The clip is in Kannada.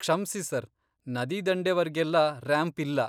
ಕ್ಷಮ್ಸಿ, ಸರ್. ನದಿದಂಡೆವರ್ಗೆಲ್ಲ ರ್ಯಾಂಪ್ ಇಲ್ಲ.